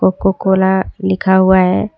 Cocoa Cola लिखा हुआ है।